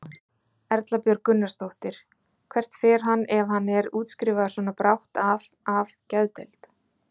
Erla Björg Gunnarsdóttir: Hvert fer hann ef hann er útskrifaður svona brátt af af geðdeild?